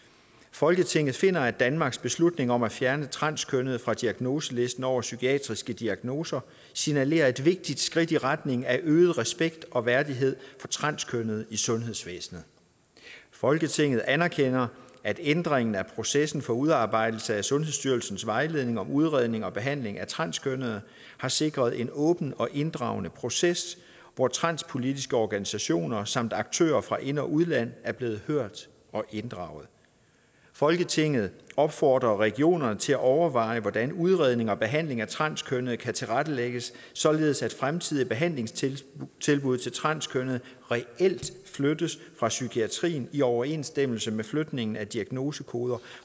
folketinget finder at danmarks beslutning om at fjerne transkønnede fra diagnoselisten over psykiatriske diagnoser signalerede et vigtigt skridt i retning af øget respekt og værdighed for transkønnede i sundhedsvæsenet folketinget anerkender at ændringen af processen for udarbejdelsen af sundhedsstyrelsens vejledning om udredning og behandling af transkønnede har sikret en åben og inddragende proces hvor transpolitiske organisationer samt aktører fra ind og udland er blevet hørt og inddraget folketinget opfordrer regionerne til at overveje hvordan udredning og behandling af transkønnede kan tilrettelægges således at fremtidige behandlingstilbud til transkønnede reelt flyttes fra psykiatrien i overensstemmelse med flytning af diagnosekoden